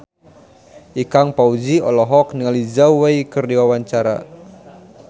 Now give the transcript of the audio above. Ikang Fawzi olohok ningali Zhao Wei keur diwawancara